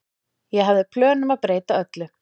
Ég hafði plön um að breyta öllu.